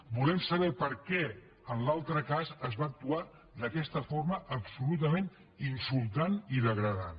volem saber per què en l’altre cas es va actuar d’aquesta forma absolutament insultant i degradant